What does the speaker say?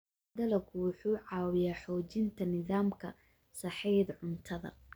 Dalaggu wuxuu caawiyaa xoojinta nidaamka sahayda cuntada.